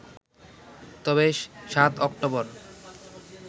তবে ৭ অক্টোবর